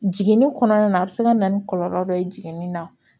Jiginni kɔnɔna na a bɛ se ka na ni kɔlɔlɔ dɔ ye jiginni na